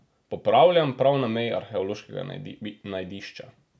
Popravljam, prav na meji arheološkega najdišča.